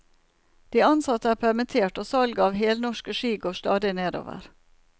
De ansatte er permittert, og salget av helnorske ski går stadig nedover.